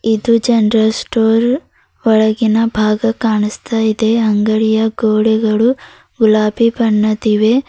ಇದು general store ಒಳಗಿನ ಭಾಗ ಕಾಣಿಸ್ತ ಇದೆ ಅಂಗಡಿಯ ಗೋಡೆಗಳು ಗುಲಾಬಿ ಬಣ್ಣದಿವೆ.